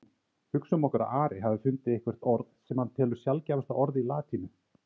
Hugsum okkur að Ari hafi fundið eitthvert orð sem hann telur sjaldgæfasta orð í latínu.